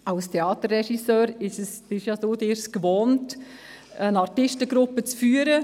Als Theaterregisseur sind Sie es sich gewöhnt, eine Artistengruppe zu führen.